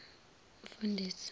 umfundisi